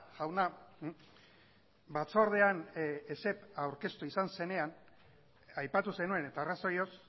jauna batzordean esep aurkeztu izan zenean aipatu zenuen eta arrazoioz